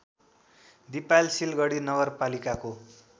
दिपायल सिलगढी नगरपालिकाको